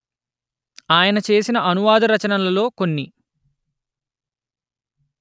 ఆయన చేసిన అనువాద రచనలలో కొన్ని